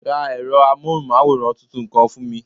Ra ẹ̀rọ amóhùnmáwòrán tuntun kan fún mi